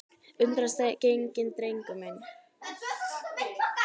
Undrast enginn, drengur minn.